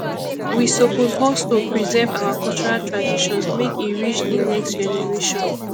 we suppose hustle preserve our cultural traditions make e reach de next generation